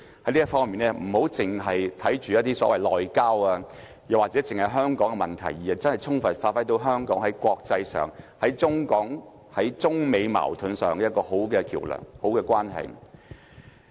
在這方面，特首不要單看內交或只是香港的問題，而是充分發揮香港在國際上、在中港或在中美矛盾上一個很好的橋樑和一個好的關係。